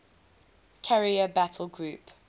carrier battle group